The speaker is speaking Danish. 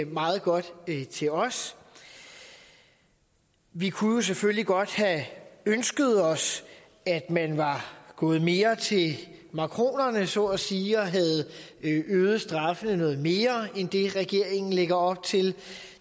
meget godt til os vi kunne jo selvfølgelig godt have ønsket os at man var gået mere til makronerne så at sige og havde øget straffene noget mere end det regeringen lægger op til